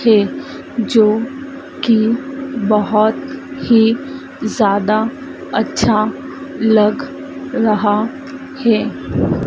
के जो कि बहोत ही ज्यादा अच्छा लग रहा हैं।